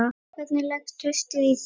Hvernig leggst haustið í þig?